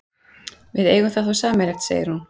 Við eigum það þá sameiginlegt, segir hún.